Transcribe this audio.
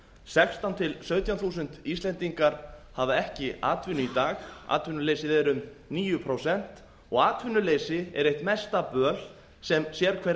sextán til sautján þúsund íslendingar hafa ekki atvinnu í dag atvinnuleysið er um níu prósent og atvinnuleysi er eitt mesta böl sem sérhver